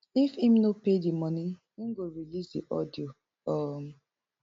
if im no pay di money im go release di audio um